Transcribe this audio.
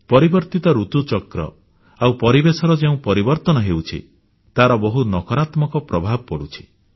ପରିବର୍ତ୍ତିତ ଋତୁଚକ୍ର ଆଉ ପରିବେଶର ଯେଉଁ ପରିବର୍ତ୍ତନ ହେଉଛି ତାର ବହୁତ ନକାରାତ୍ମକ ପ୍ରଭାବ ପଡ଼ୁଛି